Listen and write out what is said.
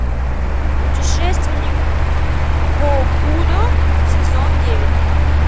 путешественник гокудо сезон девять